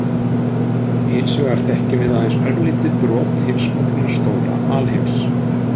Hins vegar þekkjum við aðeins örlítið brot hins ógnarstóra alheims.